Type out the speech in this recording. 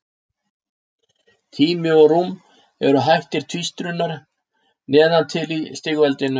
Tími og rúm eru hættir tvístrunar neðan til í stigveldinu.